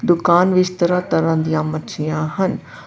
ਦੁਕਾਨ ਵਿੱਚ ਤਰ੍ਹਾਂ-ਤਰ੍ਹਾਂ ਦੀਆਂ ਮੱਛੀਆਂ ਹਨ।